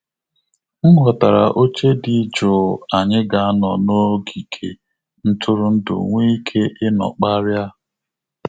M ghọtara oche dị jụụ anyị ga anọ n'ogige ntụrụndu nweike ịnọ kparia